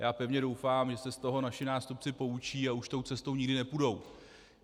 Já pevně doufám, že se z toho naši nástupci poučí a už tou cestou nikdy nepůjdou.